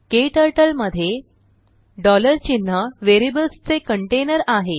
क्टर्टल मध्ये चिन्ह वेरियबल्स चे कंटेनर आहे